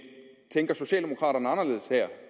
tænker socialdemokraterne anderledes her